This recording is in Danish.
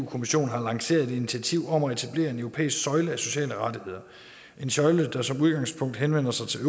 kommissionen har lanceret et initiativ om at etablere en europæisk søjle af sociale rettigheder en søjle der som udgangspunkt henvender sig til